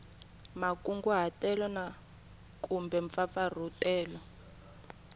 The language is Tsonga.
makunguhatelo na kumbe mampfampfarhutelo